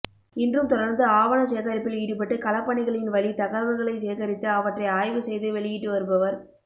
இன்றும் தொடர்ந்து ஆவணச் சேகரிப்பில் ஈடுபட்டு களப்பணிகளின் வழி தகவல்களைச் சேகரித்து அவற்றை ஆய்வு செய்து வெளியிட்டு வருபவர்